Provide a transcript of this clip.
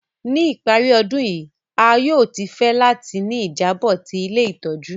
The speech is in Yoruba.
Ni ìparí ọdun yi, a yóò fẹ láti ni ìjábò ti ilé ìtójú